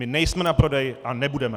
My nejsme na prodej a nebudeme!